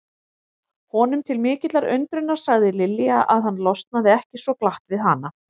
Honum til mikillar undrunar sagði Lilja að hann losnaði ekki svo glatt við hana.